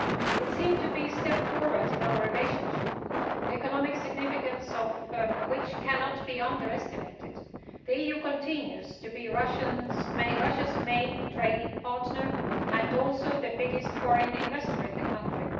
It seemed to be a step forward in our relationship, the economic significance of which cannot be underestimated. The EU continues to be Russia's main trading partner and also the biggest foreign investor in that country.